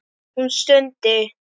Hún stundi.